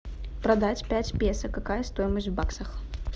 продать пять песо какая стоимость в баксах